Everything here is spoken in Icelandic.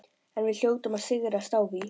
En við hljótum að sigrast á því.